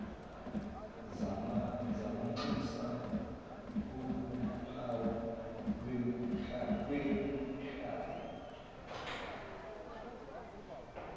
zamanxusa kuwuphawu lwekhaya